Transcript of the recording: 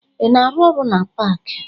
Ị na-arụ ọrụ na paakị?